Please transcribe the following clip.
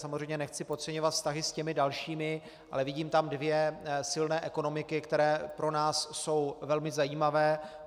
Samozřejmě nechci podceňovat vztahy s těmi dalšími, ale vidím tam dvě silné ekonomiky, které pro nás jsou velmi zajímavé.